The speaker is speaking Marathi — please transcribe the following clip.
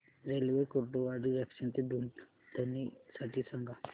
रेल्वे कुर्डुवाडी जंक्शन ते दुधनी साठी सांगा